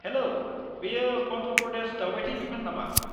हेल', बेयो अन्ध्र प्रदेश दायबायथाय बिफान नामा?